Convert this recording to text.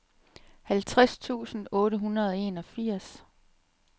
halvtreds tusind otte hundrede og enogfirs